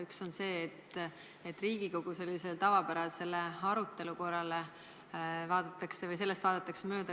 Üks on see, et Riigikogu tavapärasest arutelukorrast vaadatakse mööda.